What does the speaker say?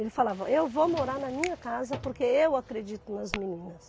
Ele falava, eu vou morar na minha casa porque eu acredito nas meninas.